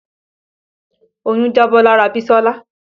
Oyún jábọ́ lára Bisola